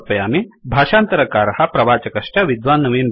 भाषान्तरकारः प्रवाचकश्च विद्वान् नवीन् भट्टः